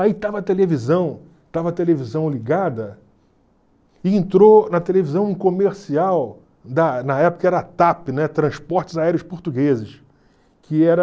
Aí estava a televisão, estava a televisão ligada, e entrou na televisão um comercial, da na época era a TAP, né, Transportes Aéreos Portugueses, que era...